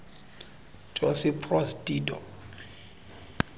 josip broz tito